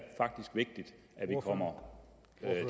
faktisk vigtigt at vi kommer